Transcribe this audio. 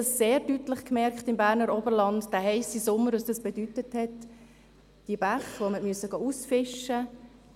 Wir haben im Berner Oberland in diesem heissen Sommer sehr deutlich gemerkt, was das bedeutet hat: die Bäche, die man ausfischen musste;